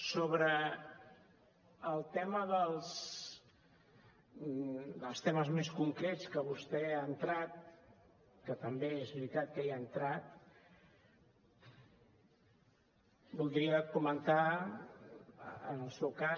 sobre un dels temes més concrets en què vostè ha entrat que també és veritat que hi ha entrat voldria comentar en el seu cas